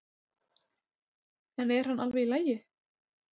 En er hann alveg í lagi?